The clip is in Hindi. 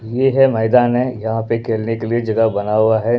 ये है मैदान है यहाँ पे खेलने के लिए जगह बना हुआ है।